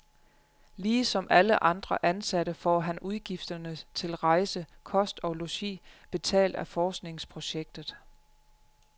Lige som alle andre ansatte får han udgifterne til rejse, kost og logi betalt af forskningsprojektet.